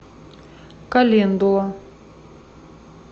календула